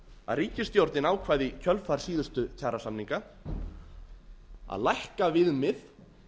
að ríkisstjórnin ákvað í kjölfar síðustu kjarasamninga að lækka viðmið